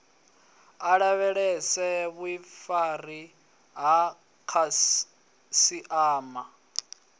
a lavhelese vhuifari ha khasiama